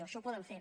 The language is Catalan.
això ho poden fer